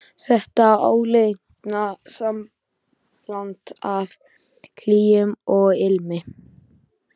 Þetta áleitna sambland af hlýju og ilmi.